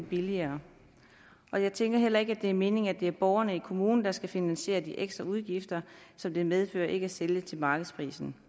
billigere og jeg tænker heller ikke at det er meningen at det er borgerne i kommunen der skal finansiere de ekstra udgifter som det medfører ikke at sælge til markedsprisen